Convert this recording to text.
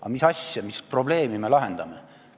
Aga mis asja, mis probleemi me lahendame?